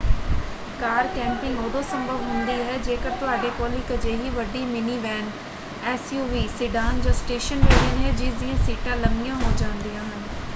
ਕਾਰ camping ਉਦੋਂ ਸੰਭਵ ਹੁੰਦੀ ਹੈ ਜੇਕਰ ਤੁਹਾਡੇ ਕੋਲ ਇੱਕ ਅਜਿਹੀ ਵੱਡੀ ਮਿਨੀਵੈਨ ਐਸਯੂਵੀ ਸਿਡਾਨ ਜਾਂ ਸਟੇਸ਼ਨ ਵੈਗਨ ਹੈ ਜਿਸ ਦੀਆਂ ਸੀਟਾਂ ਲੰਮੀਆਂ ਹੋ ਜਾਂਦੀਆਂ ਹਨ।